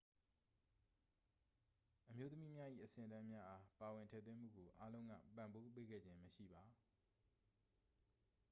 အမျိုးသမီးများ၏ အဆင့်အတန်းများအား ပါဝင်ထည့်သွင်းမှုကို အားလုံးက ပံ့ပိုးပေးခဲ့ခြင်းမရှိပါ